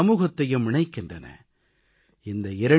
இவை தனிநபரையும் சமூகத்தையும் இணைக்கின்றன